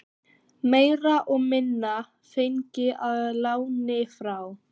Meira og minna fengin að láni frá